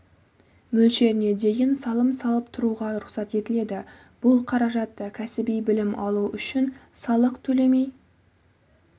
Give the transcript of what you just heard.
мөлшеріне дейін салым салып тұруға рұқсат етіледі бұл қаражатты кәсіби білім алу үшін салық төлемей